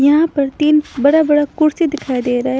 यहाँ पर तीन बड़ा-बड़ा कुर्सी दिखाई दे रहा है।